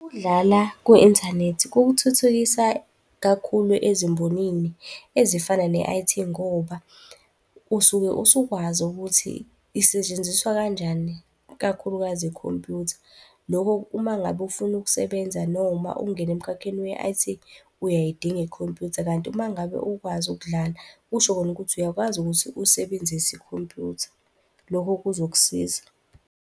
Ukudlala ku-inthanethi kukuthuthukisa kakhulu ezimbonini ezifana ne-I_T ngoba usuke usukwazi ukuthi isetshenziswa kanjani, ikakhulukazi ikhompyutha. Lokho uma ngabe ufuna ukusebenza noma ukungena emkhakheni we-I_T uyayidinga ikhompyutha, kanti uma ngabe ukwazi ukudlala kusho kona ukuthi uyakwazi ukuthi usebenzise ikhompyutha. Lokho kuzokusiza.